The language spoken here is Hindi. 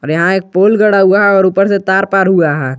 और यहां एक पोल गड़ा हुआ है और ऊपर से तार तार हुआ है।